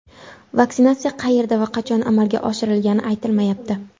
Vaksinatsiya qayerda va qachon amalga oshirilgani aytilmayapti.